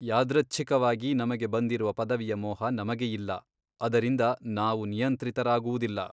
ಯಾದೃಚ್ಛಿಕವಾಗಿ ನಮಗೆ ಬಂದಿರುವ ಪದವಿಯ ಮೋಹ ನಮಗೆ ಇಲ್ಲ ಅದರಿಂದ ನಾವು ನಿಯಂತ್ರಿತರಾಗುವುದಿಲ್ಲ!